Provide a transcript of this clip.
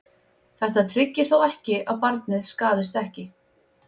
Þetta tryggir þó ekki að barnið skaðist ekki.